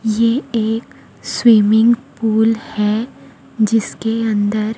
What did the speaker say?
ये एक swimming pool है जिसके अंदर--